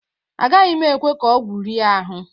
Agaghị m ekwe ka ọgwụ rie ahụ.